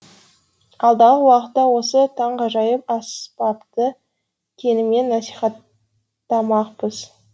алдағы уақытта осы таңғажайып аспапты кеңінен насихаттамақпыз